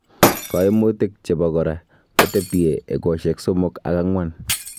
Koimutik chebokora kotebie egosiek somok ak ang'wan.